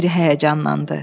Meri həyəcanlandı.